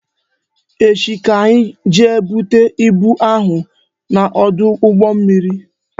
Echi ka anyị jee bute ibu ahụ n'ọdụ ụgbọ mmiri